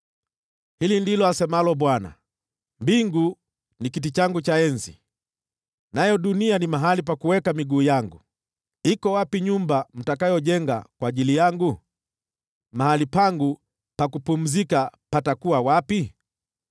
Hili ndilo asemalo Bwana , “Mbingu ni kiti changu cha enzi, nayo dunia ni mahali pa kuweka miguu yangu. Iko wapi nyumba mtakayoijenga kwa ajili yangu? Mahali pangu pa kupumzikia patakuwa wapi?